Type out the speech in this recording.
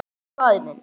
Elsku faðir minn.